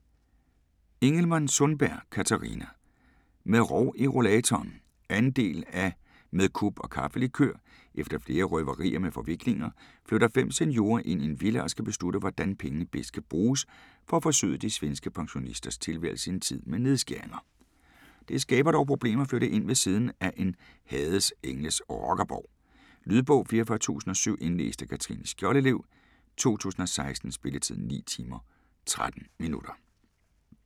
Ingelman-Sundberg, Catharina: Med rov i rollatoren 2. del af Med kup og kaffelikør. Efter flere røverier med forviklinger, flytter fem seniorer ind i en villa og skal beslutte hvordan pengene bedst kan bruges for at forsøde de svenske pensionisters tilværelse i en tid med nedskæringer. Det skaber dog problemer at flytte ind ved siden af en Hades Engles rockerborg. Lydbog 44007 Indlæst af Katrine Skjoldelev, 2016. Spilletid: 9 timer, 13 minutter.